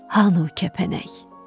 Hanı o kəpənək?